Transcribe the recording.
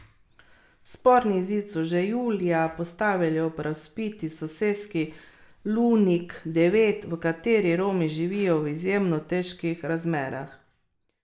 Sporni zid so že julija postavili ob razvpiti soseski Lunik devet, v kateri Romi živijo v izjemno težkih razmerah.